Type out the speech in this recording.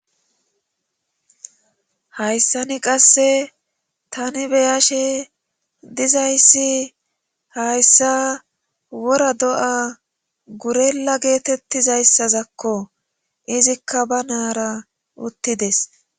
Hayssani qasse tani beyashe dizayssi hayssa wora do'a gurella geetettizayssazakko izikka ba naara uttides.